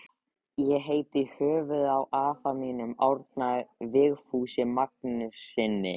Ég heiti í höfuðið á afa mínum, Árna Vigfúsi Magnússyni.